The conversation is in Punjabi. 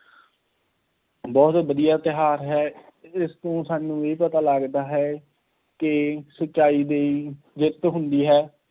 ਬਹੁਤ ਵਧੀਆ ਤਿਉਹਾਰ ਹੈ, ਇਸ ਤੋਂ ਸਾਨੂੰ ਇਹ ਪਤਾ ਲੱਗਦਾ ਹੈ ਕਿ ਸੱਚਾਈ ਦੀ ਜਿੱਤ ਹੁੰਦੀ ਹੈ।